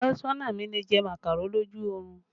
Afesona mi lè jẹ màkàró lójú orun